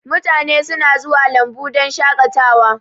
Mutane suna zuwa lambu don shakatawa